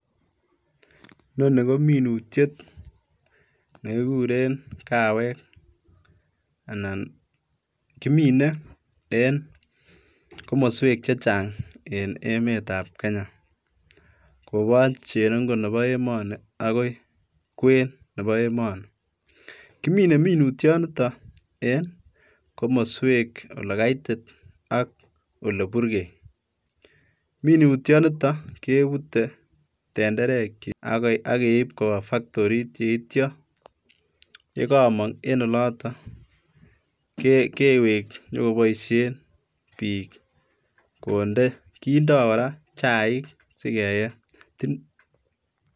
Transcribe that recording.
Inoni kominutiet nekikuren kawek, anan kimine en komoswek chechang en emetab Kenya koboch cherongo nebo emoni agoi kweny nebo emoni, kimine minutioniton en komoswek ole kaitit ak ole burgei, minutioniton kebute tenderekyik ak keib kobaa faktorit yeitio yekomong' en oloton kewek konyokoboisien bik konde kindo koraa chaik sigeyee.